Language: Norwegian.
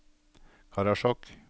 Karasjok